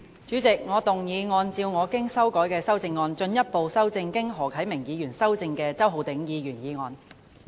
主席，我動議按照我經修改的修正案，進一步修正經何啟明議員修正的周浩鼎議員議案。